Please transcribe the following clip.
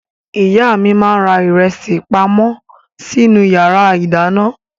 Ìyá mi máa ń ra ìrẹsì pamọ́ sínú ìyàrá-ìdáná.